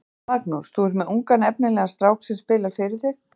Magnús: Þú er með ungan efnilegan strák sem spilar fyrir þig?